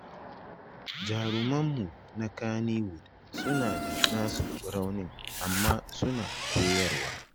Jarumanmu na Kannywood suna da nasu raunin amma suna koyarwa